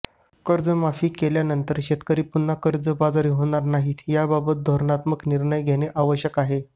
कर्ज माफ केल्यानंतर शेतकरी पुन्हा कर्जबाजारी होणार नाहीत याबाबत धोरणात्मक निर्णय घेणे आवश्यक आहे